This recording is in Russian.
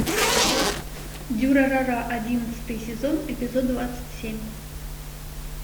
дюрарара одиннадцатый сезон эпизод двадцать семь